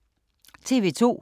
TV 2